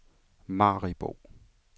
Maribo